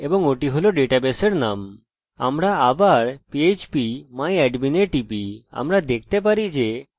আমরা আবার php myadmin এ টিপি আমরা দেখতে পারি যে আমাদের ডাটাবেসের নাম phpacademy